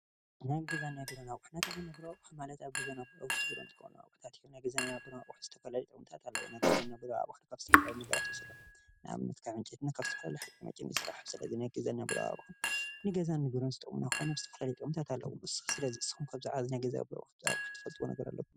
ናይ ገዘን ናይ ቤሮን ኣቁሑታት ንብሎም ማለት ኣብ ገዛን ኣብ ዉሽጢ ቢሮን ንጥቀመሉ ኣቁሑታት እዩም፡፡ እዞም ገዛን ናይ ቢሮ ኣቁሑት ንዝተፈላለዩ ነገራት ንጥቀመሎም ናይ ገዛ ኣቁሑት ንብሎም ንኣብነት ካብ ዕንጨይቲና ካብ ዝተፈላለዩ ሓጪመጪዝተሰርሑ ናይ ገዛ ኣቁሑት ናይ ገዛን ንዝተፈላለዩ ጥቅሚታት ኣለዉ እዚ ንስኩም ከ ብዛዕባ ዚ ናይ ገዛ ኣቁሑት ትፈልጥዎም ነገራት ኣለኩም ዶ?